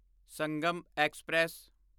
Sangam express